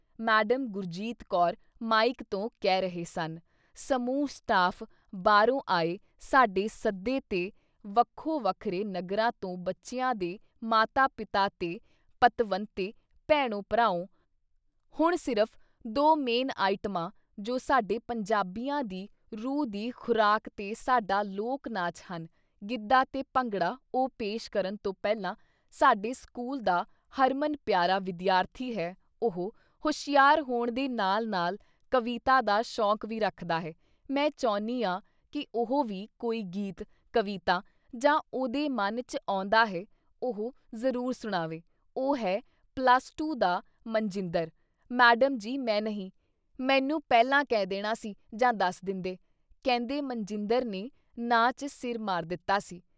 Madam Gurjeet Kaur mike ਤੋਂ ਕਹਿ ਰਹੇ ਸਨ - ਸਮੂਹ ਸਟਾਫ਼ ਬਾਹਰੋਂ ਆਏ ਸਾਡੇ ਸੱਦੇ ਤੇ ਵੱਖੋ ਵੱਖਰੇ ਨਗਰਾਂ ਤੋਂ ਬੱਚਿਆਂ ਦੇ ਮਾਤਾ-ਪਿਤਾ ਤੇ ਪਤਵੰਤੇ ਭੈਣੋ ਭਰਾਓ - ਹੁਣ ਸਿਰਫ ਦੋ ਮੇਨ ਆਈਟਮਾਂ ਜੋ ਸਾਡੇ ਪੰਜਾਬੀਆਂ ਦੀ ਰੂਹ ਦੀ ਖੁਰਾਕ ਤੇ ਸਾਡਾ ਲੋਕ ਨਾਚ ਹਨ - ਗਿੱਧਾ ਤੇ ਭੰਗੜਾ ਉਹ ਪੇਸ਼ ਕਰਨ ਤੋਂ ਪਹਿਲਾਂ ਸਾਡੇ ਸਕੂਲ ਦਾ ਹਰਮਨ ਪਿਆਰਾ ਵਿਦਿਆਰਥੀ ਹੈ ਉਹ ਹੁਸ਼ਿਆਰ ਹੋਣ ਦੇ ਨਾਲ ਨਾਲ ਕਵਿਤਾ ਦਾ ਸ਼ੌਕ ਵੀ ਰੱਖਦਾ ਹੈ ਮੈਂ ਚਹੁੰਨੀਆਂ ਕਿ ਉਹ ਵੀ ਕੋਈ ਗੀਤ, ਕਵਿਤਾ ਜਾਂ ਜੋ ਉਹਦੇ ਮਨ ਚ ਆਉਂਦਾ ਹੈ - ਉਹ ਜ਼ਰੂਰ ਸੁਣਾਵੇ ਉਹ ਹੈ ਪਲੱਸ ਟੂ ਦਾ ਮਨਜਿੰਦਰ ! "ਮੈਡਮ ਜੀ ਮੈਂ ਨਹੀਂ ! ਮੈਨੂੰ ਪਹਿਲਾਂ ਕਹਿ ਦੇਣਾ ਸੀ ਜਾਂ ਦੱਸ ਦਿੰਦੇ, " ਕਹਿੰਦੇ ਮਨਜਿੰਦਰ ਨੇ ਨਾਂਹ ਚ ਸਿਰ ਮਾਰ ਦਿੱਤਾ ਸੀ।